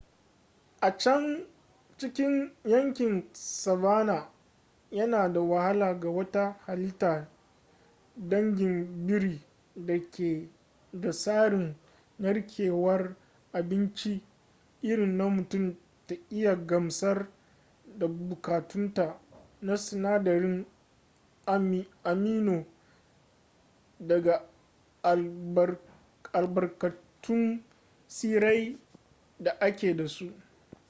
a can cikin yankin savanna yana da wahala ga wata halitta dangin biri da ke da tsarin narkewar abinci irin na mutum ta iya gamsar da buƙatunta na sinadarin amino daga albarkatun tsirrai da ake da su